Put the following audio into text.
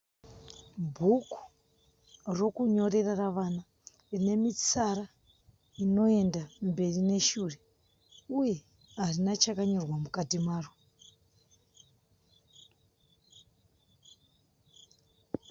Bhuku rokunyorera ravana. Rine mitsara inoenda mberi neshure uye harina chakanyorerwa mukati maro.